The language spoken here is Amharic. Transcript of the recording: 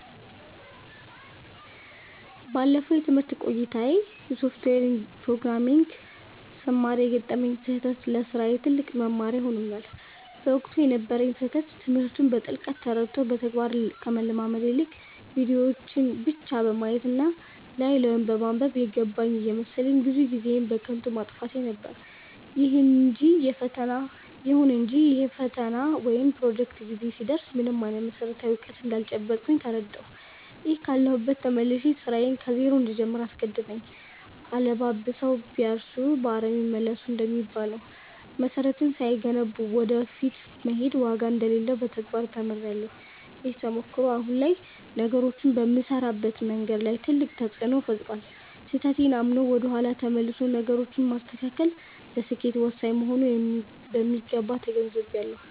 ባለፈው የትምህርት ቆይታዬ የሶፍትዌር ፕሮግራሚንግን ስማር የገጠመኝ ስህተት ለስራዬ ትልቅ መማሪያ ሆኖኛል። በወቅቱ የነበረኝ ስህተት ትምህርቱን በጥልቀት ተረድቶ በተግባር ከመለማመድ ይልቅ፣ ቪዲዮዎችን ብቻ በማየት እና ላይ ላዩን በማንበብ 'የገባኝ' እየመሰለኝ ብዙ ጊዜዬን በከንቱ ማጥፋቴ ነበር። ይሁን እንጂ የፈተና ወይም የፕሮጀክት ጊዜ ሲደርስ ምንም አይነት መሰረታዊ እውቀት እንዳልጨበጥኩ ተረዳሁ፤ ይህም ካለሁበት ተመልሼ ስራዬን ከዜሮ እንድጀምር አስገደደኝ።' አለባብሰው ቢያርሱ በአረም ይመለሱ' እንደሚባለው፣ መሰረትን ሳይገነቡ ወደ ፊት መሄድ ዋጋ እንደሌለው በተግባር ተምሬያለሁ። ይህ ተሞክሮ አሁን ላይ ነገሮችን በምሰራበት መንገድ ላይ ትልቅ ተፅእኖ ፈጥሯል። ስህተቴን አምኖ ወደ ኋላ ተመልሶ ነገሮችን ማስተካከል ለስኬት ወሳኝ መሆኑንም በሚገባ ተገንዝቤያለሁ።